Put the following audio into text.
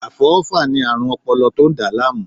Afọwọfa ni aarun ọpọlọ to n da laamu